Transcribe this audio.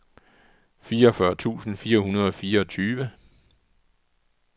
fireogfyrre tusind fire hundrede og fireogtyve